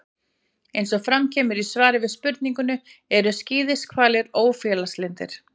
Eins og fram kemur í svari við spurningunni: Eru skíðishvalir ófélagslyndir?